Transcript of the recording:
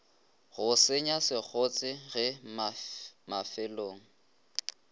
go senya sekgotse ge mafelong